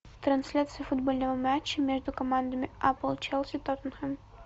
трансляция футбольного матча между командами апл челси тоттенхэм